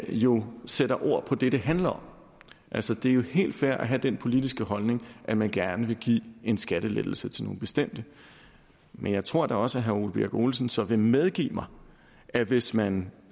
jo sætter ord på det det handler om altså det er jo helt fair at have den politiske holdning at man gerne vil give en skattelettelse til nogle bestemte men jeg tror da også at herre ole birk olesen så vil medgive at hvis man